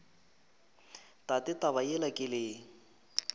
tate taba yela ke le